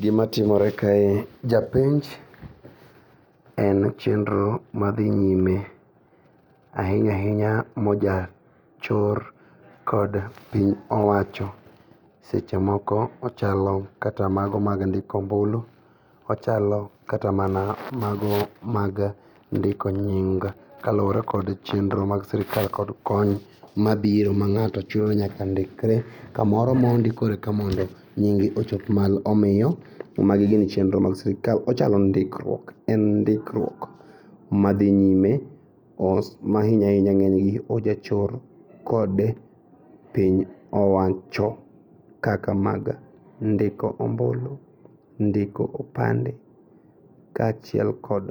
Gimatimore kae japenj en chenro madhi nyime. Ahiny ahinya moja chor kod piny owacho sechemoko ochalo kata mago mag ndiko ombulu . Ochalo kata mana mago mag ndiko nying kaluore kod chenro mag sirkal kod kony mabiro ma ng'ato chuno ni nyaka ndikre kamoro mondi koro eka mondo nyinge ochop malo. Omiyo magi gin chenro mag sirkal ochalo ndikruok. En ndikruok madhi nyime mos mahinyahinya ng'enygi ojachor kod piny owacho kaka mag ndiko ombulu, ndiko opande kachiel kod